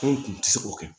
Ko n kun tɛ se k'o kɛ